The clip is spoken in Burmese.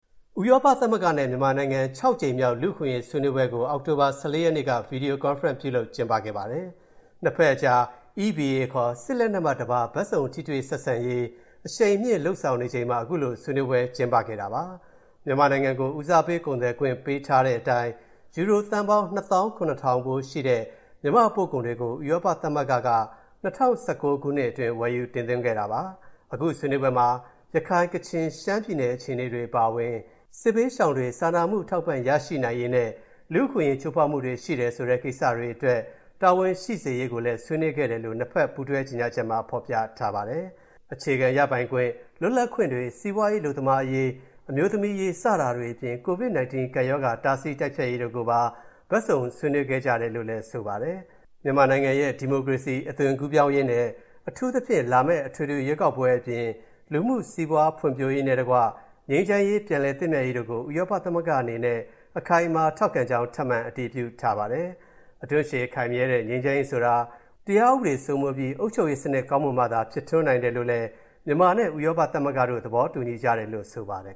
ဥရောပသမဂ္ဂ နဲ့ မြန်မာနိုင်ငံ ၆ ကြိမ်မြောက် လူ့အခွင့်အရေး ဆွေးနွေးပွဲကို အောက်တိုဘာလ ၁၄ ရက်နေ့က ဗွီဒီယိုကွန်ဖရင့် ပြုလုပ်ကျင်းပခဲ့ပါတယ်။ နှစ်ဘက်အကြား EBA ခေါ် စစ်လက်နက်မှတပါး ဘက်စုံထိတွေ့ဆက်ဆံရေး အရှိန်မြှင့်လုပ်ဆောင်နေချိန်မှာ အခုလို ဆွေးနွေးပွဲ ကျင်းပခဲ့တာဖြစ်ပါတယ်။ မြန်မာနိုင်ငံကို ဦးစားပေးကုန်သွယ်ခွင့်ပေးထားတဲ့ အတိုင်း ယူရိုသန်းပေါင်း ၂ သောင်း ၇ ထောင်ဖိုးရှိတဲ့ မြန်မာ့ပို့ကုန်တွေကို ဥရောပသမဂ္ဂက ၂၀၁၉ ခုနှစ်အတွင်း ဝယ်ယူတင်သွင်းခဲ့တာပါ။ အခုဆွေးနွေးပွဲမှာ ရခိုင်၊ ကချင်၊ ရှမ်း ပြည်နယ်အခြေအနေတွေ အပါအဝင် စစ်ဘေးရှောင်တွေ စာနာမှုအထောက်အပံ့ရရှိနိုင်ရေး နဲ့ လူ့အခွင့်အရေး ချိုးဖောက်မှုတွေရှိတယ်ဆိုတဲ့ ကိစ္စတွေအတွက် တာဝန်ရှိစေရေးကိုလဲ ဆွေးနွေးခဲ့ကြတယ်လို့ နှစ်ဘက်ပူးတွဲ ကြေညာချက်မှာဖော်ပြထားပါတယ်။ အခြေခံရပိုင်ခွင့် လွတ်လပ်ခွင့်တွေ စီးပွားရေး အလုပ်သမားအရေး အမျိုးသမီးအရေး စတာတွေ အပြင် COVID-19 ကပ်ရောဂါ တားဆီးတိုက်ဖျက်ရေးတို့ကိုပါ ဘက်စုံဆွေးနွေးခဲကြတယ် လို့လည်း ဆိုထာားပါတယ်။ မြန်မာနိုင်ငံရဲ့ ဒီမိုကရေစီ အသွင်ကူးပြောင်းရေး နဲ့ အထူးသဖြင့် လာမယ့် အထွေထွေရွေးကောက်ပွဲ အပြင် လူမှု စီးပွားဖွံ့ဖြိုးရေးနဲ့တကွ ငြိမ်းချမ်းရေး ပြန်လည်သင့်မြတ်ရေးတို့ကို ဥရောပသမဂ္ဂ အနေနဲ့ အခိုင်အမာထောက်ခံကြောင်း ထပ်မံအတည်ပြုထားပါတယ်။ အဓွန့်ရှည်ခိုင်မြဲတဲ့ ငြိမ်းချမ်းရေးဆိုတာ တရားဥပဒေစိုးမိုးပြီး အုပ်ချုပ်ရေးစနစ်ကောင်းမွန်မှ သာ ဖြစ်ထွန်းနိုင်တယ်လို့လဲ မြန်မာ နဲ့ ဥရောပသမဂ္ဂတို့ သဘောတူညီကြတယ်လို့ဆိုပါတယ်